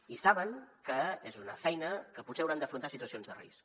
i saben que és una feina en què potser hauran d’afrontar situacions de risc